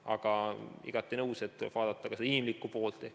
Aga olen igati nõus, et tuleb vaadata ka seda inimlikku poolt.